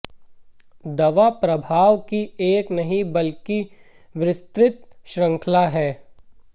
दवा प्रभाव की एक नहीं बल्कि विस्तृत श्रृंखला है